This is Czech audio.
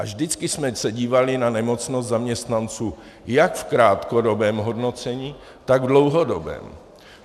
A vždycky jsme se dívali na nemocnost zaměstnanců, jak v krátkodobém hodnocení, tak v dlouhodobém.